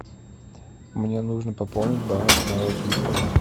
мне нужно пополнить баланс моего телефона